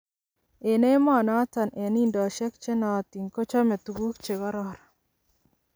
En amunoton en indosiek chenootin kochome tuguuk chekororon.